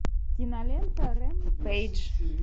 кинолента рэмпейдж